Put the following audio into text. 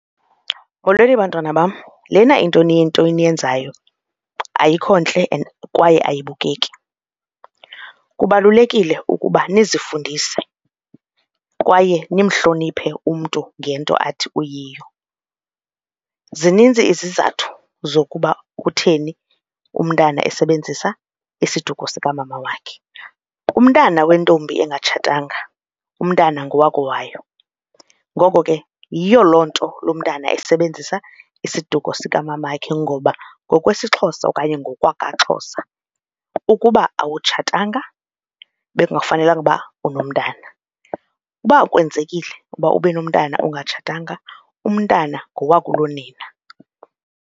Molweni, bantwana bam. Lena into niyenzayo ayikho ntle and kwaye ayibukeki. Kubalulekile ukuba nizifundise kwaye nimhloniphe umntu ngento athi uyiyo, zinintsi izizathu zokuba kutheni umntana esebenzisa isiduko sikamama wakhe. Umntana wentombi engatshatanga umntana ngowakowayo, ngoko ke yiyo loo nto lo mntana esebenzisa isiduko sikamamakhe ngoba ngokwesiXhosa okanye ngokwakwaXhosa ukuba awutshatanga bekungafanelanga ukuba unomntana. Uba kwenzekile uba ube nomntana ungatshatanga umntana ngowakulonina.